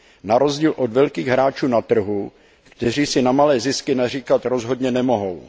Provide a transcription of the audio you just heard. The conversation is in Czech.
Narozdíl od velkých hráčů na trhu, kteří si na malé zisky naříkat rozhodně nemohou.